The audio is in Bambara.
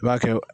I b'a kɛ